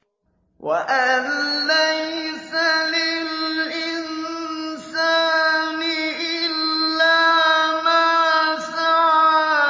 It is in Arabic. وَأَن لَّيْسَ لِلْإِنسَانِ إِلَّا مَا سَعَىٰ